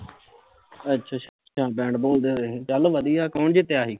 ਅੱਛਾ ਅੱਛਾ bat ball ਦੇ ਹੋਏ ਸੀ ਚੱਲ ਵਧੀਆ ਕੋਣ ਜਿੱਤਿਆ ਸੀ